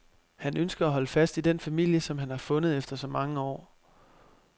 Han ønsker at holde fast i den familie, som han har fundet efter så mange år.